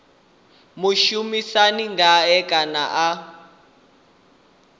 mushumisani ngae kana ene a